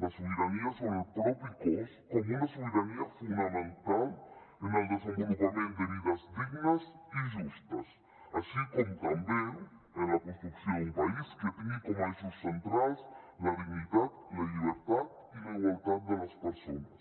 la sobirania sobre el propi cos com una sobirania fonamental en el desenvolupament de vides dignes i justes així com també en la construcció d’un país que tingui com a eixos centrals la dignitat la llibertat i la igualtat de les persones